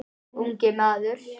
Ungur maður.